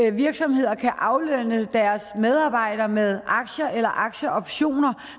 at virksomheder kan aflønne deres medarbejdere med aktier eller aktieoptioner